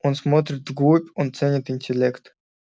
он смотрит вглубь он ценит интеллект